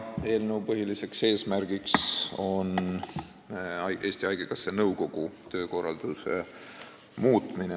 Eelnõu põhiline eesmärk on Eesti Haigekassa nõukogu töökorralduse muutmine.